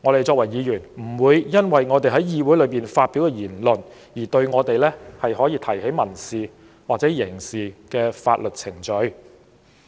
作為議員，我們不會因為在議會發表言論而被人提起民事或刑事法律訴訟。